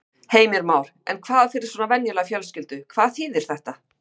Heimir Már: En hvað fyrir svona venjulega fjölskyldu, hvað þýðir þetta?